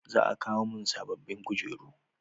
Za a kawo mun sabobbin kujeru